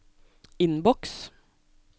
innboks